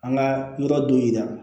An ka yɔrɔ dɔ yira